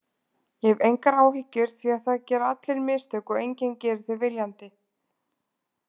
Ég hef engar áhyggjur því það gera allir mistök og enginn gerir þau viljandi.